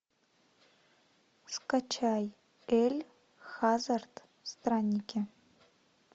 скачай эль хазард странники